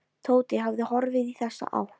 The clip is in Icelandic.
Tóti hafði horfið í þessa átt.